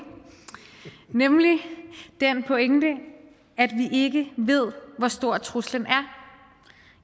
nemlig den pointe at vi ikke ved hvor stor truslen er